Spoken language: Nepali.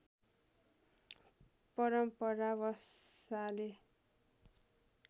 परम्परा बसाले